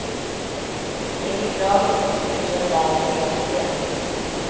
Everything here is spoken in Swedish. Det är beklagligt om uppgifterna där är felaktiga.